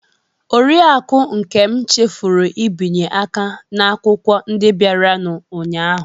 Oriakụ Nkem chefuru ibinye aka n'akwụkwọ ndị bịaranụ ụnyahụ.